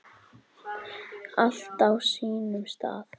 Allt á sínum stað.